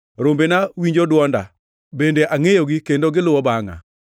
Rombena winjo dwonda, bende angʼeyogi kendo giluwo bangʼa.